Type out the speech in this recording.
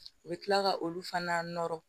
U bɛ tila ka olu fana nɔrɔ